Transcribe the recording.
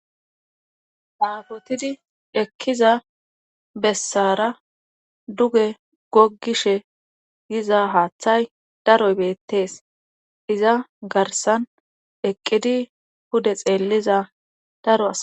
Nangidi ekkiza bessara duge gogishe yiza haaththay daroy beettees iza garsan eqqidi hude xeelliza daro asa.